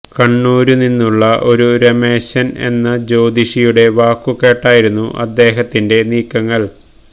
കണ്ണൂരുനിന്നുള്ള ഒരു രമേശന് എന്ന ജ്യോതിഷിയുടെ വാക്കു കേട്ടായിരുന്നു അദ്ദേഹത്തിന്റെ നീക്കങ്ങള്